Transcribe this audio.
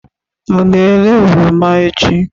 Ọ ga-ere oroma echi?